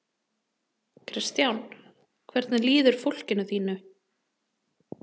Kristján: Hvernig líður fólkinu þínu?